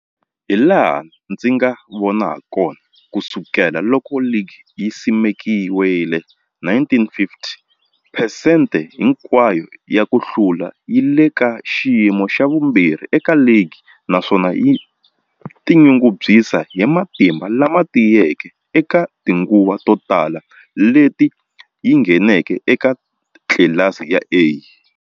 Hilaha ndzi nga vona hakona, ku sukela loko ligi yi simekiwile 1950, phesente hinkwayo ya ku hlula yi le ka xiyimo xa vumbirhi eka ligi, naswona yi tinyungubyisa hi matimba lama tiyeke eka tinguva to tala leti yi ngheneke eka tlilasi ya A.